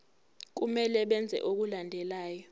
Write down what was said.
kumele benze okulandelayo